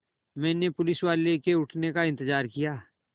मैंने पुलिसवाले के उठने का इन्तज़ार किया